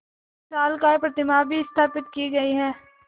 विशालकाय प्रतिमा भी स्थापित की गई है